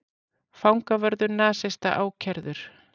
Fangavörður nasista ákærður